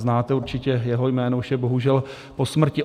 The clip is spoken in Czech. Znáte určitě jeho jméno, už je bohužel po smrti.